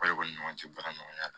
O de kɔni ɲɔgɔncɛ baara ɲɔgɔnya la